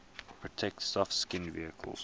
protect soft skinned vehicles